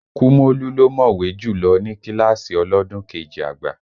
Kúmólú ló mọ̀wé jùlọ ní kíláàsì ọlọ́dún kejì àgbà